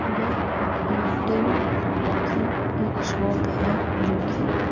यह एयरटेल की एक शॉप है जो की।